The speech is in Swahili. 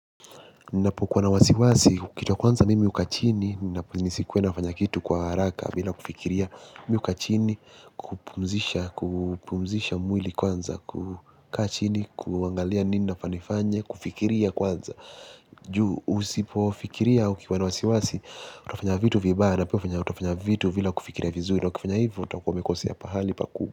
Ninapokuwa na wasiwasi, kitu ya kwanza mimi hukaa chini, nisikuwe nafanya kitu kwa haraka bila kufikiria mimi hukaa chini, kupumzisha kupumzisha mwili kwanza, kukaa chini, kuangalia nini nafaa nifanye, kufikiria kwanza. Juu, usipofikiria ukiwa na wasiwasi, utafanya vitu vibaya, na pia utafanya vitu bila kufikiria vizuri, na ukifanya hivo utakuwa umekosea pahali pa kuu.